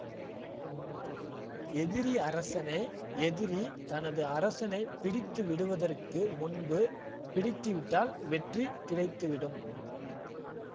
எதிரி அரசனை எதிரி தனது அரசனை பிடித்துவிடுவதற்கு முன்பு பிடித்துவிட்டால் வெற்றி கிடைத்துவிடும்